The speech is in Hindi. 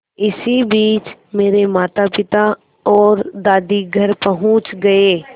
इसी बीच मेरे मातापिता और दादी घर पहुँच गए